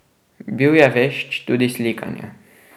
Bil je vešč tudi slikanja.